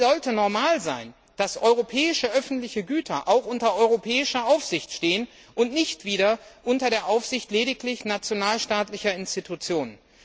Es sollte normal sein, dass europäische öffentliche Güter auch unter europäischer Aufsicht stehen und nicht lediglich unter der Aufsicht nationalstaatlicher Institutionen.